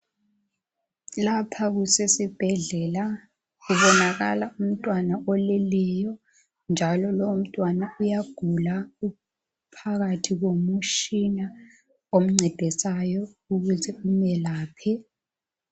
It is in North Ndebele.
Lapha kusesibhedlela kubonakala umtwana oleleyo njalo lowo mtwana uyagula uphakathi komutshina omncedisayo ukuze umelaphe